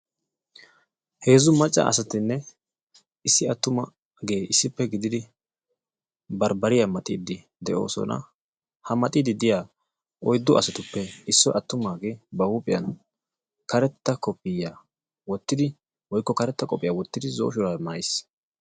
Heezzu macca asatinne issi attumagee issippe gididi barbbariya maxxiidi de'oosona. Ha maxxiidi diya oyddu asatuppe issoy attumaaggee ba huuphiya pixxidi karettaa kofiyiyaa wottidi woykko karetta qophiya wottidi zo"o shuraabiya maayiis.